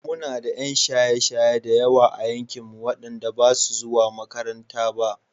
Muna da 'yan shaye-shaye da yawa a yankinmu wanda basu he makaranta ba.